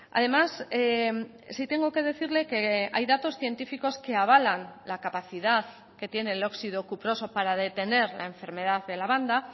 además sí tengo que decirle que hay datos científicos que avalan la capacidad que tiene el óxido cuproso para detener la enfermedad de la banda